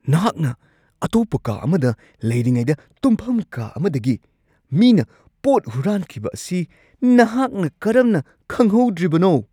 ꯅꯍꯥꯛꯅ ꯑꯇꯣꯞꯄ ꯀꯥ ꯑꯃꯗ ꯂꯩꯔꯤꯉꯩꯗ ꯇꯨꯝꯐꯝ ꯀꯥ ꯑꯃꯗꯒꯤ ꯃꯤꯅ ꯄꯣꯠ ꯍꯨꯔꯥꯟꯈꯤꯕ ꯑꯁꯤ ꯅꯍꯥꯛꯅ ꯀꯔꯝꯅ ꯈꯪꯍꯧꯗ꯭ꯔꯤꯕꯅꯣ ? (ꯄꯨꯂꯤꯁ)